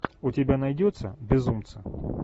у тебя найдется безумцы